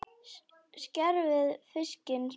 Skerið fiskinn smátt.